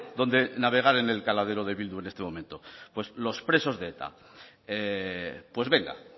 donde navegar en el caladero de bildu en este momento pues los presos de eta pues venga